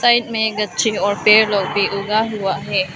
Side में गच्छी और पेड़ लोग भी उगा हुआ है।